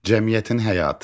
Cəmiyyətin həyatı.